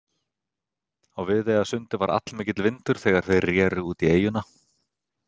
Á Viðeyjarsundi var allmikill vindur þegar þeir reru út í eyjuna.